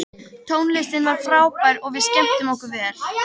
Tónlistin var frábær og við skemmtum okkur vel.